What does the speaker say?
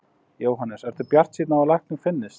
Jóhannes: Ertu bjartsýnn á að lækning finnist?